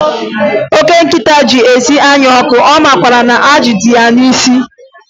Oke nkịta ji isi anya ọkụ, ọ makwaara na ajị dị ya n'isi?